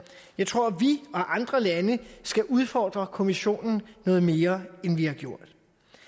jeg tror at vi og andre lande skal udfordre kommissionen noget mere end vi har gjort